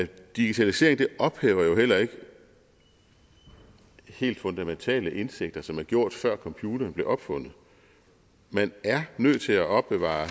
digitalisering ophæver jo heller ikke helt fundamentale indsigter som er gjort før computeren blev opfundet man er nødt til at opbevare